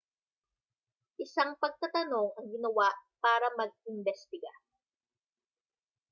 isang pagtatanong ang ginawa para mag-imbestiga